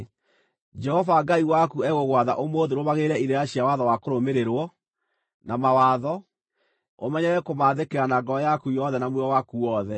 Jehova Ngai waku egũgwatha ũmũthĩ ũrũmagĩrĩre irĩra cia watho wa kũrũmĩrĩrwo, na mawatho; ũmenyerere kũmaathĩkĩra na ngoro yaku yothe na muoyo waku wothe.